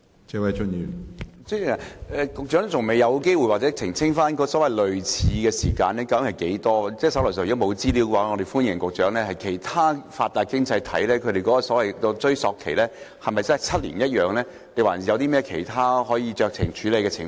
主席，局長還未有機會澄清類似的追溯年期究竟是多長，如果局長手上沒有資料，我們歡迎局長事後補充，其他發達經濟體的追溯期是否7年，有否其他可以酌情處理的情況？